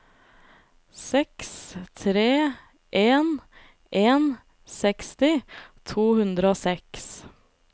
seks tre en en seksti to hundre og seks